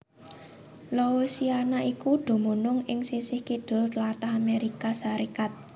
Louisiana iku dumunung ing sisih kidul tlatah Amérika Sarékat